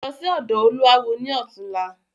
Lọ sí ọ̀dọ̀ olúawo ni ọ̀túnla!